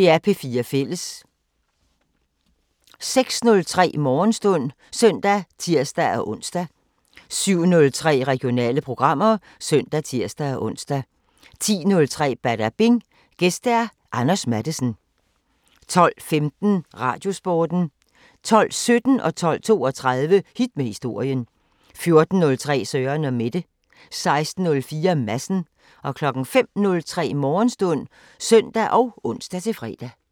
06:03: Morgenstund (søn og tir-ons) 07:03: Regionale programmer (søn og tir-ons) 10:03: Badabing: Gæst Anders Matthesen 12:15: Radiosporten 12:17: Hit med historien 12:32: Hit med historien 14:03: Søren & Mette 16:04: Madsen 05:03: Morgenstund (søn og ons-fre)